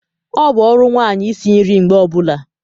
Ọ bụ ọrụ nwanyị isi nri mgbe ọbula